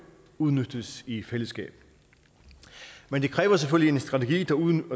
udnyttes i fællesskab men det kræver selvfølgelig en strategi